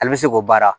Ale bɛ se k'o baara